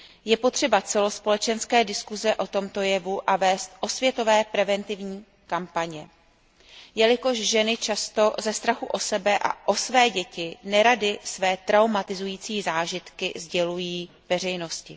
Je potřeba celospolečenské diskuse o tomto jevu a je nutné vést osvětové preventivní kampaně, jelikož ženy často ze strachu o sebe a o své děti nerady své traumatizující zážitky sdělují veřejnosti.